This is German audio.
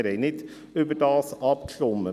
Wir haben nicht darüber abgestimmt.